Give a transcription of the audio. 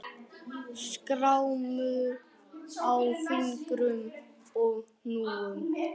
Skrámur á fingrum og hnúum.